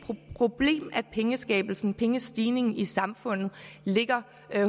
problem at pengeskabelsen pengestigningen i samfundet ligger